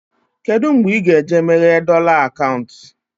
Kedụ mgbe ị ga eje meghee dọla akaụntụ?